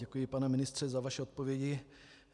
Děkuji, pane ministře, za vaše odpovědi.